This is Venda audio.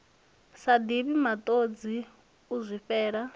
sa divhi matodzi u zwifhela